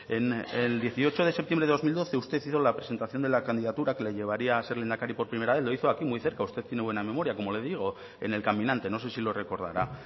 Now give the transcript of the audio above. el dieciocho de septiembre de dos mil doce usted hizo la presentación de la candidatura que le llevaría a ser lehendakari por primera vez lo hizo aquí muy cerca usted tiene muy buena memoria como le digo en el caminante no sé si lo recordará